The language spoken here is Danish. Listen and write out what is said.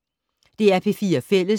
DR P4 Fælles